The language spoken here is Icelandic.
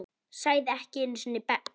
Sagði ekki einu sinni bless.